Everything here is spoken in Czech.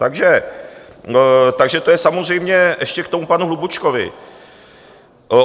Takže to je samozřejmě ještě k tomu panu Hlubučkovi.